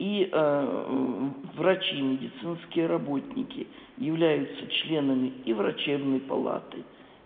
и врачи медицинские работники являются членами и врачебной палаты